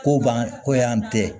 Ko ban ko yan tɛ